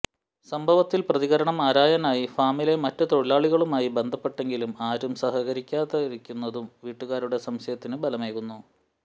സംഭവത്തിൽ പ്രതികരണം ആരായാനായി ഫാമിലെ മറ്റ് തൊഴിലാളികളുമായി ബന്ധപ്പെട്ടെങ്കിലും ആരും സഹകരിക്കാതിരിക്കുന്നതും വീട്ടുകാരുടെ സംശയത്തിന് ബലമേകുന്നു